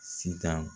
Sitan